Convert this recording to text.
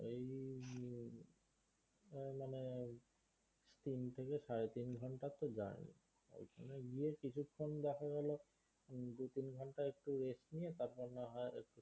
তিন থেকে সাড়ে তিন ঘন্টার তো journey ওইখানে গিয়ে কিছুক্ষন দেখা গেলো হম দু তিন ঘন্টা একটু রেস্ট নিয়ে তারপর না হয়